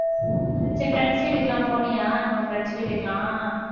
சரி, friends வீட்டுக்கு எல்லாம் போனியா? நம்ம friends வீட்டுக்கெல்லாம்